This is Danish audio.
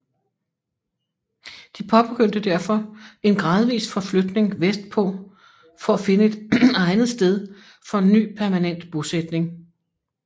De påbegyndte derfor en gradvis forflytning vestpå for at finde et egnet sted for en ny permanent bosætning